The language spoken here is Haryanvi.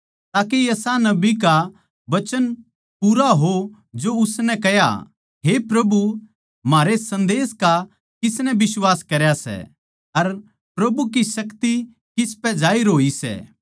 ताके यशायाह नबी का वचन पूरा हो जो उसनै कह्या हे प्रभु म्हारै संदेश का किसनै बिश्वास करया सै अर प्रभु की शक्ति किसपै जाहिर होई सै